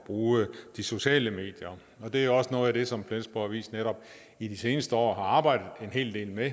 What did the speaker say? bruge de sociale medier det er også noget af det som flensborg avis netop i de seneste år har arbejdet en hel del med